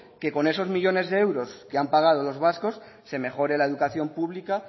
que con esos millónes de euros que han pagado los vascos se mejore la educación pública